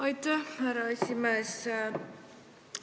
Aitäh, härra esimees!